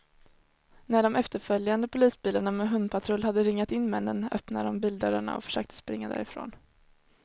När de efterföljande polisbilarna med hundpatrull hade ringat in männen, öppnade de bildörrarna och försökte springa därifrån.